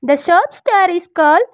The shop store is call --